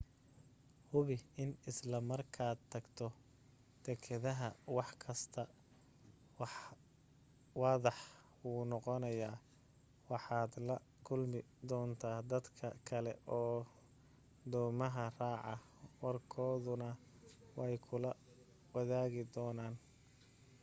hubi in isla markaad tagto dekedaha wax kasta waadax buu noqonayaa waxaad la kulmi doontaa dadka kale oo doomaha raaca warkoodana way kula wadaagi doonaan